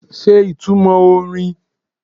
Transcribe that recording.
Ṣe ìtumọ̀ orin?